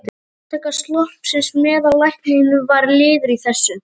Upptaka sloppsins meðal lækna var liður í þessu.